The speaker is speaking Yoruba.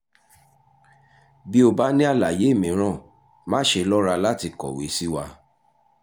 bí o bá ní àlàyé mìíràn má ṣe lọ́ra láti kọ̀wé sí wa